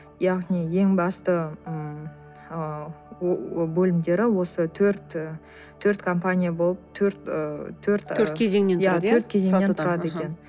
яғни ең басты м ы бөлімдері осы төрт і төрт компания болып төрт ы төрт төрт кезеңнен тұрады екен